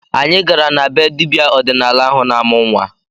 Anyị gara na be dibịa ọdịnala ahụ na-amụ nnwa